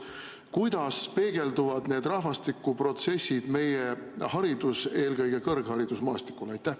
Kuidas peegelduvad need rahvastikuprotsessid meie haridus‑, eelkõige kõrgharidusmaastikul?